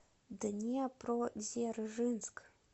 днепродзержинск